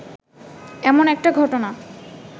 এমন একটা ঘটনা